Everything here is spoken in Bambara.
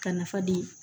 Ka nafa di